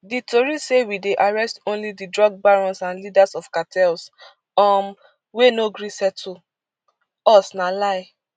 di tori say wey dey arrest only di drug barons and leaders of cartels um wey no gree settle us na lie